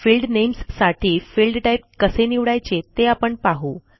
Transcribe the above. field names साठी field type कसे निवडायचे ते आपण पाहू